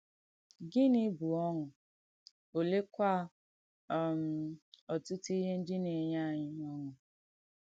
Gịnì bù ọ̀ṅụ́, olèekwà um ọ̀tùtù ìhé ndí nà-ènyè ànyị̣ ọ̀ṅụ́?